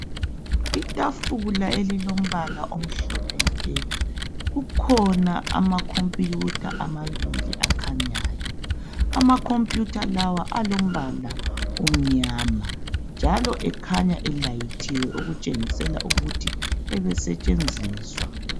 Itafula elilombala omhlophe nke, kukhona amakhomputha amabili akhanyayo. Amakhomputha lawa alombala omnyama njalo ekhanya elayithiwe okutshengisela ukuthi ebesetshenziswa.